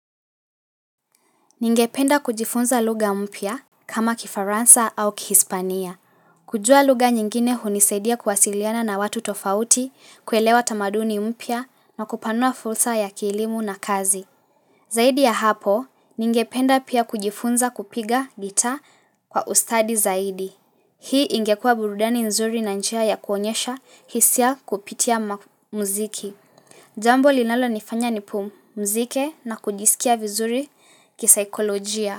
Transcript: Ningependa kujifunza lugha mpya kama kifaransa au kihispania. Kujua lugha nyingine hunisaidia kuwasiliana na watu tofauti, kuelewa tamaduni mpya na kupanua fursa ya kielimu na kazi. Zaidi ya hapo, ningependa pia kujifunza kupiga guitar kwa ustadi zaidi. Hii ingekua burudani nzuri na njia ya kuonyesha hisia kupitia muziki. Jambo linalonifanya nipumzike na kujisikia vizuri kisaikolojia.